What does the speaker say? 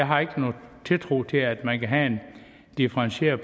har ikke nogen tiltro til at man kan have en differentieret